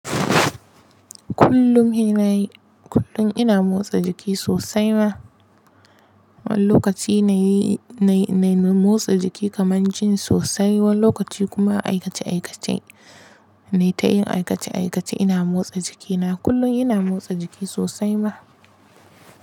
Kullum ina motsa jiki sosai ma, wani lokaci na yi, na yi motsa jiki kaman jin sosai, wani lokaci kuma aikace-aikace. Nai ta yin aikace-aikace ina motsa jiki na. Kullum ina motsa jiki sosai ma.